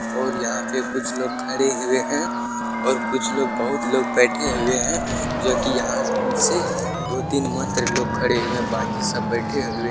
और यहाँ पे कुछ लोग खड़े हुए हैं और कुछ लोग बहुत लोग बेठे हुए हैं जोकी यहाँ से दो तिन मात्र लोग खड़े हुए हैं बाकी सब बैठे हुए --